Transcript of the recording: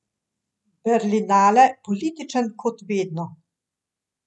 Berlinale političen kot vedno.